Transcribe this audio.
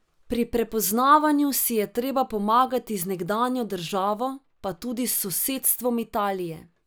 Pri prepoznavanju si je treba pomagati z nekdanjo državo, pa tudi s sosedstvom Italije.